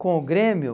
Com o Grêmio?